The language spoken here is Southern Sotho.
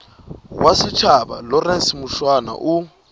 wa setjhaba lawrence mushwana o